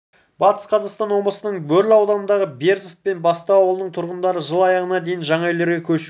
батыс қазақстан облысының бөрлі ауданындағы берзов пен бестау ауылының тұрғындары жыл аяғына дейін жаңа үйлерге көшуі